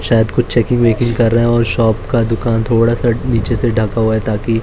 शायद कुछ checking backing कर रहे हैं और शॉप का दुकान थोड़ा सा नीचे से ढका हुआ है ताकि--